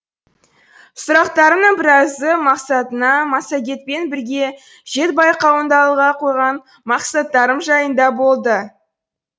сұрақтарымның біразы мақсатыңа массагетпен бірге жет байқауында алға қойған мақсаттарым жайында болды